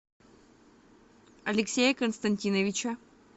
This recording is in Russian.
алексея константиновича